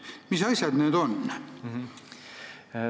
Mis asjad need on?